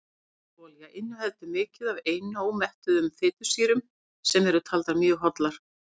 ólífuolía inniheldur mikið af einómettuðum fitusýrum sem eru taldar mjög hollar